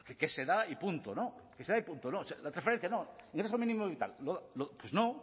que se da y punto no la transferencia no ingreso mínimo vital pues no